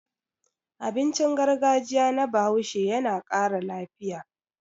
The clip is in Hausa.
Abincin gargajiya na Bahaushe yana ƙara lafiya.